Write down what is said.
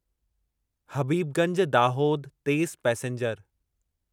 हबीबगंज दाहोद तेज़ पैसेंजर